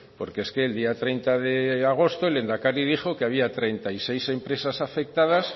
porque es que el día treinta de agosto el lehendakari dijo que había treinta y seis empresas afectadas